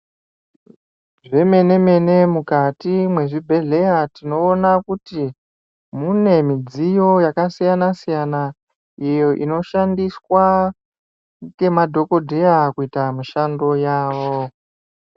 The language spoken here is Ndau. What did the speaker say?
Zvemene-mene mukati mwezvibhehleya tinoona kuti mune midziyo yakasiyana-siyana iyo inoshandiswa ngemadhokodheya kuita mishando yawo.